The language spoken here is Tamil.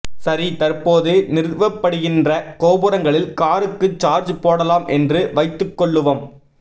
சரி தற்போது நிறுவப்படுகின்ற கோபுரங்களில் காருக்கு சார்ஜ் போடலாம் என்று வைத்துக் கொள்ளுவம்